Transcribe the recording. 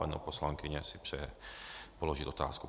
Paní poslankyně si přeje položit otázku.